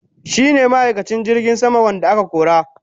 shine ma'aikacin jirgin sama wanda aka kora.